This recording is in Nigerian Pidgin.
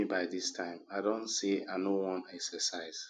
why you wake me by dis time i don say i no wan exercise